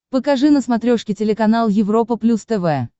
покажи на смотрешке телеканал европа плюс тв